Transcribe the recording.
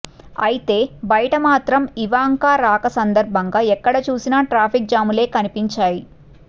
అయితే బయట మాత్రం ఇవాంక రాక సందర్బంగా ఎక్కడ చూసినా ట్రాఫిక్ జాములే కనిపించాయి